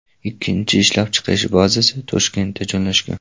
Ikkinchi ishlab chiqarish bazasi Toshkentda joylashgan.